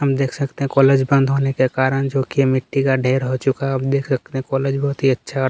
हम देख सकते है कॉलेज बंद होने के कारन जो कि मिट्टी का ढेर हो चूका है आप देख सकते है कॉलेज बहुत ही अच्छा--